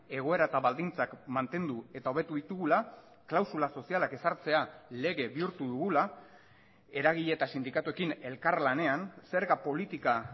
egoera eta baldintzak mantendu eta hobetu ditugula klausula sozialak ezartzea lege bihurtu dugula eragile eta sindikatuekin elkarlanean zerga politika